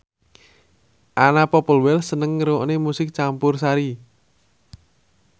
Anna Popplewell seneng ngrungokne musik campursari